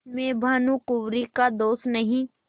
इसमें भानुकुँवरि का दोष नहीं